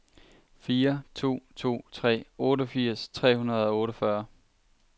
fire to to tre otteogfirs tre hundrede og otteogfyrre